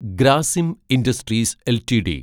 Grasim industries LTD